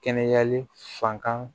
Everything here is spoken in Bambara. Kɛnɛyali fan kan